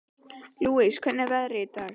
Lousie, hvernig er veðrið í dag?